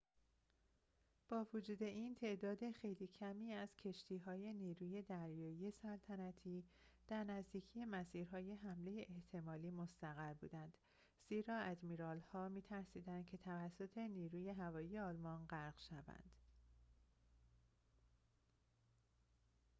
با وجود این تعداد خیلی کمی از کشتی‌های نیروی دریایی سلطنتی در نزدیکی مسیرهای حمله احتمالی مستقر بودند زیرا آدمیرال‌ها می‌ترسیدند که توسط نیروی هوایی آلمان غرق شوند